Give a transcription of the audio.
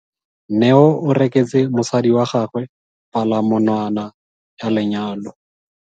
Neo o reketse mosadi wa gagwe palamonwana ya lenyalo.